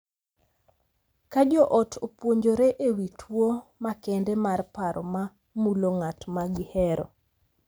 Ka jo ot opuonjore e wi tuwo makende mar paro ma mulo ng’at ma gihero,